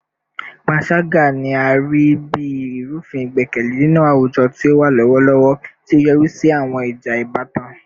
Panṣaga ni a rii bi irufin igbẹkẹle ninu awujọ ti o wa lọwọlọwọ, ti o yori si awọn ija ibatan